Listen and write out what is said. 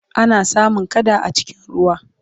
ana samun kada a cikin ruwa